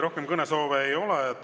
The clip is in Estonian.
Rohkem kõnesoove ei ole.